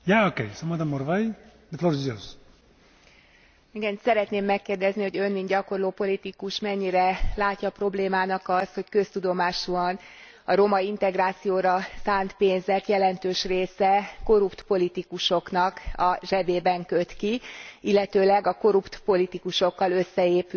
Szeretném megkérdezni, hogy Ön mint gyakorló politikus mennyire látja problémának azt, hogy köztudomásúan a roma integrációra szánt pénzek jelentős része korrupt politikusoknak a zsebében köt ki, illetőleg a korrupt politikusokkal összeépült korrupt cigányvezetőknek a zsebében, ahelyett